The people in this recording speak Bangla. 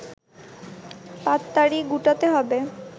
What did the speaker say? পাততাড়ি গুটাতে হবে